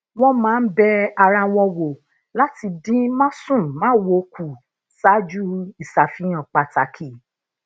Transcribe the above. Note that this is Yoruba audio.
wón máa ń be ara wọn wo lati dín másùnmáwo kù saaju isafihan pàtàkì